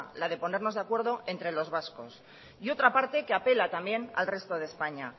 la de ponernos de acuerdo entre los vascos y otra parte que apela al resto de españa